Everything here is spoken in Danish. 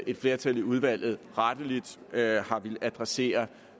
et flertal i udvalget rettelig har villet adressere